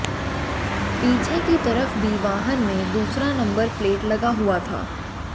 पीछे की तरफ भी वाहन में दूसरा नम्बर प्लेट लगा हुआ था